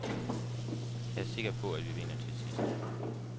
Jeg er sikker på, at vi vinder til sidst.